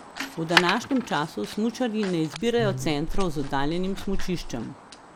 V današnjem času smučarji ne izbirajo centrov z oddaljenim smučiščem.